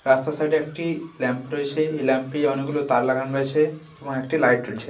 রাস্তার সাইড -এ একটি ল্যাম্প রয়েছে। এই ল্যাম্প -এ অনেক গুলো তার লাগানো রয়েছে এবং একটি লাইট জ্বলছে।